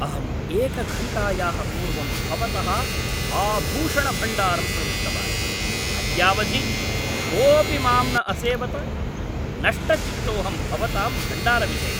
अहं एकघण्टायाः पूर्वं भवतः आभूषणभण्डारं प्रविष्टवान्, अद्यावधि कोऽपि माम् न असेवत। नष्टचित्तोऽहं भवतां भण्डारविषये।